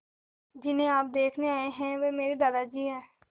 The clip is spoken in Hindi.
जिन्हें आप देखने आए हैं वे मेरे दादाजी हैं